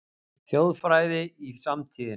Þjóðfræði í samtíðinni